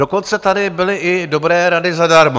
Dokonce tady byly i dobré rady zadarmo.